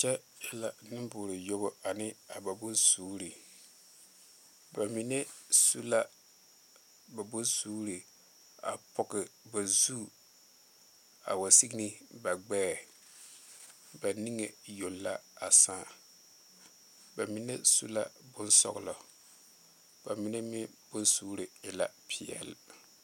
Kyɛ e la neŋ bore yuobu a ne ba bone suuri ba mine su la ba bone suuri a poɔ ba zu a wa seŋe ne ba gbɛɛ niŋe yoŋ la da saa ba mine su la bon soɔlɔ mine e la pɛle.